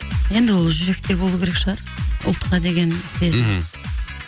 енді ол жүректе болу керек шығар ұлтқа деген сезім мхм